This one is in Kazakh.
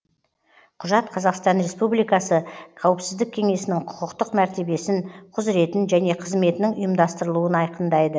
құжат қазақстан республикасы қауіпсіздік кеңесінің құқықтық мәртебесін құзыретін және қызметінің ұйымдастырылуын айқындайды